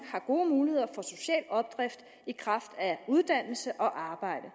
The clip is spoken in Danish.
har gode muligheder for social opdrift i kraft af uddannelse og arbejde